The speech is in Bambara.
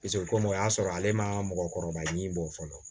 o komi o y'a sɔrɔ ale ma mɔgɔkɔrɔba ɲi bɔ fɔlɔ